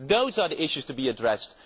Those are the issues to be addressed.